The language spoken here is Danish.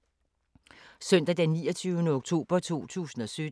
Søndag d. 29. oktober 2017